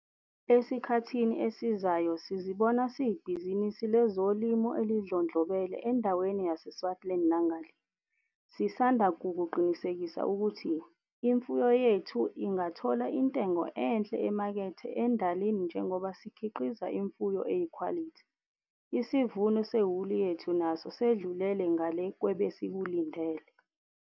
Esikhathini esizayo sizibona siyibhizinisi lezolimo elidlondlobele endaweni yaseSwartland nangale. Sisanda kukuqinisekisa ukuthi, imfuyo yethu ingathola intengo enhle emakethe endalini njengoba sikhiqiza imfuyo eyikhwalithi. Isivuno sewuli yethu naso sedlulele ngale kwebesikulindele.